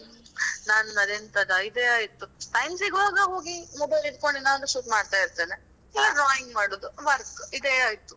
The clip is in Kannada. ನನ್ನದೆಂತದ ಇದೆ ಆಯ್ತು time ಸಿಗುವಾಗ ಹೋಗಿ mobile ಇಡ್ಕೊಂಡು ಏನಾದ್ರು shoot ಮಾಡ್ತಾ ಇರ್ತೇನೆ ಇಲ್ಲ drawing ಮಾಡುದು ಇಲ್ಲ work ಇದೆ ಆಯ್ತು.